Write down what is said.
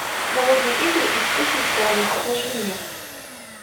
голодные игры и вспыхнет пламя покажи мне